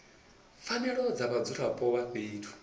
pfanelo dza vhadzulapo vha fhethu